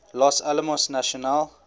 los alamos national